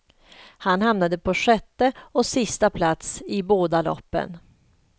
Han hamnade på sjätte och sista plats i båda loppen.